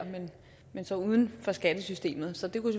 men så uden for skattesystemet så det kunne